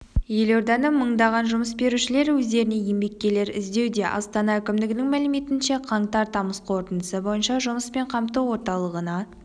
елорданың мыңдаған жұмыс берушілері өздеріне еңбеккерлер іздеуде астана әкімдігінің мәліметінше қаңтар-тамыз қортындысы бойынша жұмыспен қамту орталығына